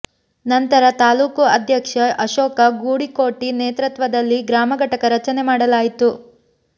ನಂತರ ತಾಲೂಕು ಅಧ್ಯಕ್ಷ ಅಶೋಕ ಗುಡಿಕೋಟಿ ನೇತೃತ್ವದಲ್ಲಿ ಗ್ರಾಮ ಘಟಕ ರಚನೆ ಮಾಡಲಾಯಿತು